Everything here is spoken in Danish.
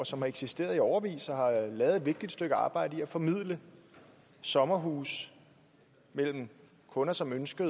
som har eksisteret i årevis og lavet et vigtigt stykke arbejde med at formidle sommerhuse mellem kunder som ønsker